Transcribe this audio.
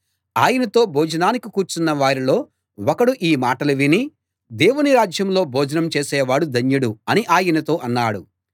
ఆయనతో భోజనానికి కూర్చున్న వారిలో ఒకడు ఈ మాటలు విని దేవుని రాజ్యంలో భోజనం చేసేవాడు ధన్యుడు అని ఆయనతో అన్నాడు